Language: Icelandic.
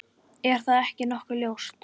Er það ekki nokkuð ljóst?